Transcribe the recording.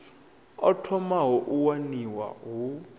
o thomaho u waniwa hu